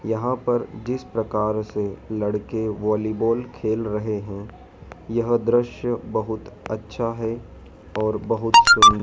यहां पर जिस प्रकार से लड़के वॉलीबॉल खेल रहे है यह दृश्य बहुत अच्छा है और बहुत सु--